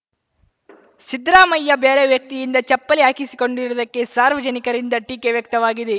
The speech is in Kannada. ಸಿದ್ದರಾಮಯ್ಯ ಬೇರೆ ವ್ಯಕ್ತಿಯಿಂದ ಚಪ್ಪಲಿ ಹಾಕಿಸಿಕೊಂಡಿರುವುದಕ್ಕೆ ಸಾರ್ವಜನಿಕರಿಂದ ಟೀಕೆ ವ್ಯಕ್ತವಾಗಿದೆ